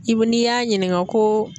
I bi n'i y'a ɲininka ko.